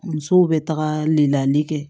Musow bɛ taga layɛli kɛ